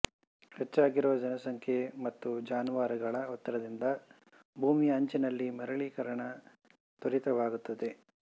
ಹೆಚ್ಚಾಗಿರುವ ಜನಸಂಖ್ಯೆ ಮತ್ತು ಜಾನುವಾರುಗಳ ಒತ್ತಡದಿಂದ ಭೂಮಿಯ ಅಂಚಿನಲ್ಲಿ ಮರಳೀಕರಣ ತ್ವರಿತವಾಗುತ್ತದೆ